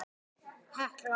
Þín, Hekla.